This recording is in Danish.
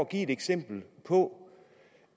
give et eksempel på